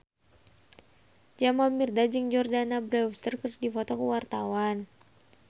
Jamal Mirdad jeung Jordana Brewster keur dipoto ku wartawan